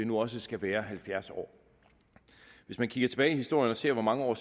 nu også skal være halvfjerds år hvis man kigger tilbage i historien og ser hvor mange år